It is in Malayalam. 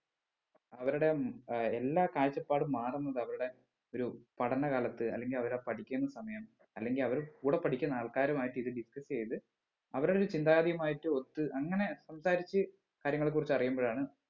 അവരുടെ ഉം ഏർ എല്ലാ കാഴ്ച്ചപ്പാടും മാറുന്നത് അവരുടെ ഒരു പഠനകാലത്ത് അല്ലെങ്കിൽ അവരാ പഠിക്കുന്ന സമയം അല്ലെങ്കിൽ അവർ കൂടെ പഠിക്കുന്ന ആൾക്കാരുമായിട്ട് ഇത് discuss എയ്ത് അവരുടെ ചിന്താഗതിയുമായിട്ട് ഒത്ത് അങ്ങനെ സംസാരിച്ച് കാര്യങ്ങളെ കുറിച്ച് അറിയുമ്പഴാണ്